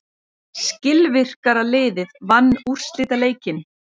Skilvirkara liðið vann úrslitaleikinn.